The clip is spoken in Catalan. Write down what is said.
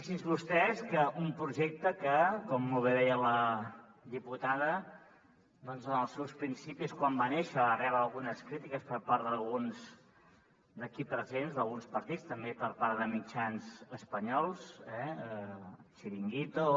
fixin se vostès que un projecte que com molt bé deia la diputada doncs en els seus principis quan va néixer va rebre algunes crítiques per part d’alguns aquí presents d’alguns partits també i per part de mitjans espanyols eh chiringuito